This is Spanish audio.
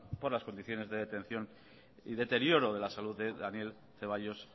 por las condiciones de detección y deterioro de la salud de daniel ceballos